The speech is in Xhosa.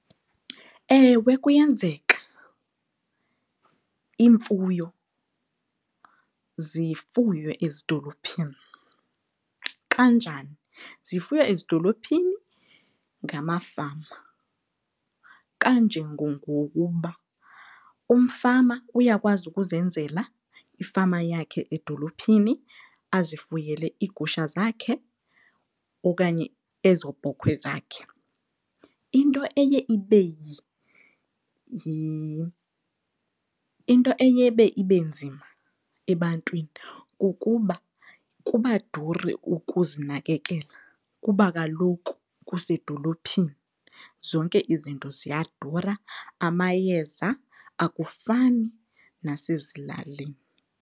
Ewe, kuyenzeka iimfuyo zifuywe ezidolophini. Kanjani? Zifuywa ezidolophini ngamafama kanjengongokuba umfama uyakwazi ukuzenzela ifama yakhe edolophini azifuyele iigusha zakhe okanye ezo bhokhwe zakhe. Into eye , into eye ibe ibe nzima ebantwini kukuba kuba duru ukuzinakekela kuba kaloku kusedolophini zonke izinto ziyadura, amayeza akufani nasezilalini.